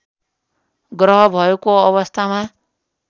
ग्रह भएको अवस्थामा